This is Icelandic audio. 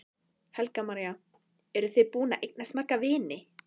Helga María: Eru þið búin að eignast marga vini?